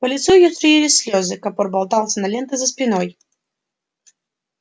по лицу её струились слезы капор болтался на ленты за спиной